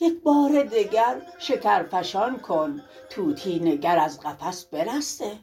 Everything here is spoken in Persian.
یک بار دگر شکرفشان کن طوطی نگر از قفس برسته